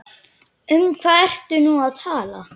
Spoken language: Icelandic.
Um hvað ertu nú að tala?